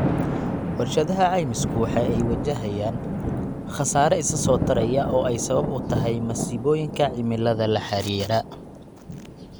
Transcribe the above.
Warshadaha caymisku waxa ay wajahayaan khasaare isa soo taraya oo ay sabab u tahay masiibooyinka cimilada la xidhiidha.